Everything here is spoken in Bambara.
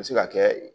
A bɛ se ka kɛ